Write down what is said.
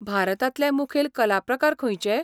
भारतांतले मुखेल कलाप्रकार खंयचे?